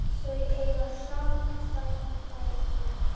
Þau eiga saman tvær dætur.